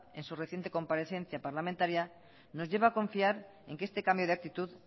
en su reciente comparecencia parlamentaria nos lleva a confiar en que este cambio de actitud